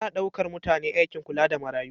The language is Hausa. Ana ɗaukar mutane aikin kula da marayu.